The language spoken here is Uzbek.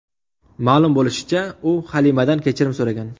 Ma’lum bo‘lishicha, u Halimadan kechirim so‘ragan.